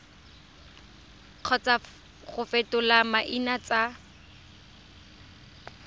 kgotsa go fetola maina tsa